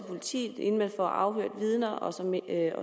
politiet inden man får afhørt vidner og